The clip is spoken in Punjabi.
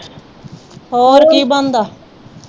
ਹੋਰ ਕੀ ਬਣਦਾ?